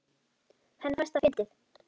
Henni fannst það fyndið.